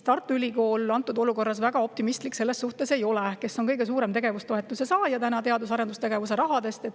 Tartu Ülikool, kes on teadus- ja arendustegevuse rahast kõige suurem tegevustoetuse saaja, selles suhtes väga optimistlik ei ole.